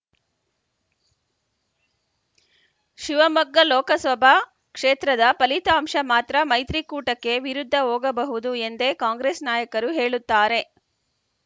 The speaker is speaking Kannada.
ಶಿವಮೊಗ್ಗ ಲೋಕಸಭಾ ಕ್ಷೇತ್ರದ ಫಲಿತಾಂಶ ಮಾತ್ರ ಮೈತ್ರಿ ಕೂಟಕ್ಕೆ ವಿರುದ್ಧ ಹೋಗಬಹುದು ಎಂದೇ ಕಾಂಗ್ರೆಸ್‌ ನಾಯಕರು ಹೇಳುತ್ತಾರೆ